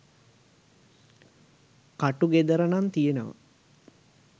ක‍ටු ගෙදර නං තියෙනව